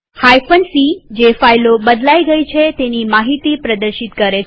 c160 જે ફાઈલો બદલાઈ ગયી છે તેની માહિતી પ્રદર્શિત કરે છે